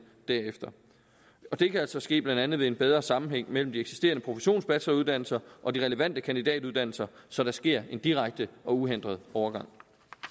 derefter det kan altså ske blandt andet ved en bedre sammenhæng mellem de eksisterende professionsbacheloruddannelser og de relevante kandidatuddannelser så der sker en direkte og uhindret overgang